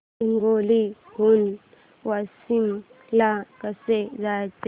हिंगोली हून वाशीम ला कसे जायचे